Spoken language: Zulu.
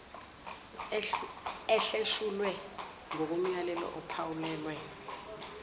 ehleshulwe ngokomyalelo ophawulwe